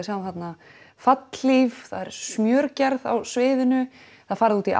sjáum þarna fallhlíf það er smjörgerð á sviðinu það er farið út í